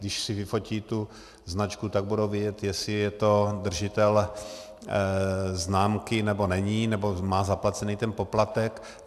Když si vyfotí tu značku, tak budou vědět, jestli je to držitel známky, nebo není, nebo má zaplacený ten poplatek.